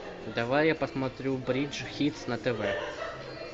давай я посмотрю бридж хитс на тв